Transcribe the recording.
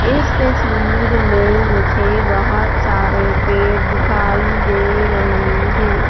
इस तस्वीर में मुझे बहुत सारे पेड़ दिखाई दे रहे हैं।